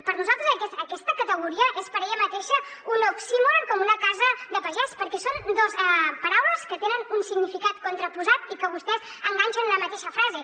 per nosaltres aquesta categoria és per ella mateixa un oxímoron com una casa de pagès perquè són dos paraules que tenen un significat contraposat i que vostès enganxen en una mateixa frase